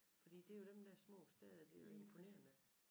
Fordi det er jo dem der små steder det er jo imponerende